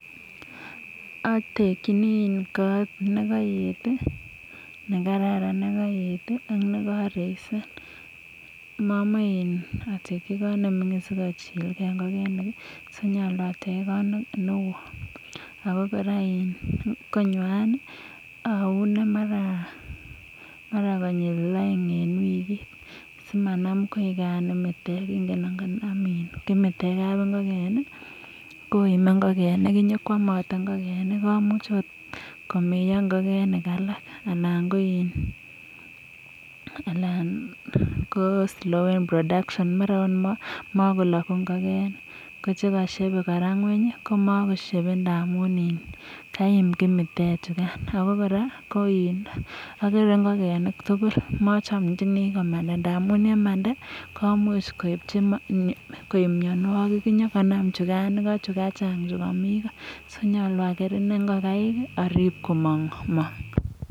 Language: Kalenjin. Otekinii kot nekopeten tii nekararan nekoet tii ak nekoreise momoi in oteki kot nemingin sikochilgee ngokenik kii so nyolu attech kot newton Ako koraa in konywan nii oune mara konyil oeng en wikit simanam koikan imitek, ingen ngonam kimitek kapingoken nii koume ingokenik inyokwomote ingokenik komuch ot komeo ngokenik alak ana ko in Alan ko slowen production mara ot komokoloku ingokenik kochekoshebe koraa ngweny komokoshebe koraa ndamun kaim kimitek chukan . Abokoraa ko in okere ingokenik tukul mochomchinii komanda amun yemanda komuch koibji koib mionwek, inyokomam chukan Iko chukachang chukomii koo so nyolu aker inee ingokaik orib komomong.